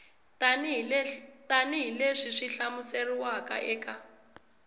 tanihi leswi swi hlamuseriwaka eka